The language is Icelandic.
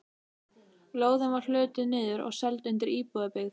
Lóðin var hlutuð niður og seld undir íbúðabyggð.